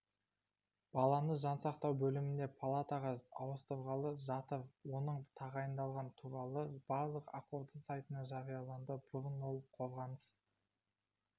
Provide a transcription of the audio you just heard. баланы жансақтау бөлімінен палатаға ауыстырғалы жатыр оның тағайындалғаны туралы жарлық ақорда сайтына жарияланды бұрын ол қорғаныс